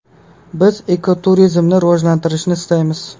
Biz ekoturizmni rivojlantirishni istaymiz.